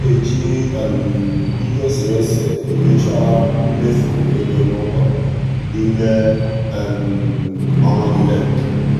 ọ na-eji ihe e sere ese enyocha mmefu ego n'ụlọ n'ime ọnwa niile.